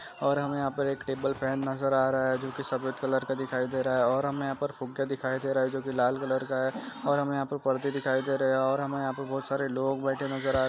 आत करो जिंदगी बदल जाएगी नई शुरूआत का सही।